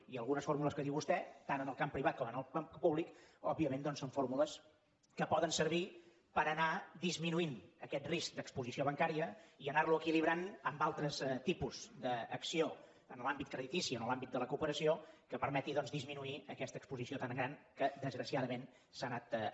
i algunes fórmules que diu vostè tant en el camp privat com en el camp públic òbviament doncs són fórmules que poden servir per anar disminuint aquest risc d’exposició bancària i anarlo equilibrant amb altres tipus d’acció en l’àmbit creditici en l’àmbit de la cooperació que permeti disminuir aquesta exposició tan gran que desgraciadament s’ha anat acumulant